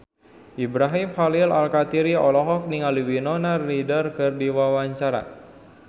Ibrahim Khalil Alkatiri olohok ningali Winona Ryder keur diwawancara